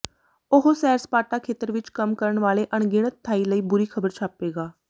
ਉਹ ਸੈਰ ਸਪਾਟਾ ਖੇਤਰ ਵਿਚ ਕੰਮ ਕਰਨ ਵਾਲੇ ਅਣਗਿਣਤ ਥਾਈ ਲਈ ਬੁਰੀ ਖ਼ਬਰ ਛਾਪੇਗਾ